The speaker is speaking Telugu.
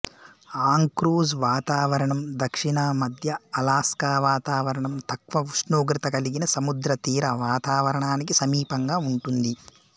ఆంక్రోజ్ వాతావరణం దక్షిణ మధ్య అలాస్కా వాతావరణం తక్కువ ఉష్ణోగ్రత కలిగిన సముద్రతీర వాతావరణానికి సమీపంగా ఉంటుంది